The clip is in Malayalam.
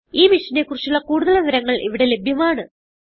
ഈ മിഷനെ കുറിച്ചുള്ള കുടുതൽ വിവരങ്ങൾ ഇവിടെ ലഭ്യമാണ്